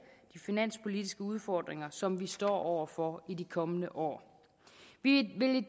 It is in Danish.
de finanspolitiske udfordringer som vi står over for i de kommende år vi vil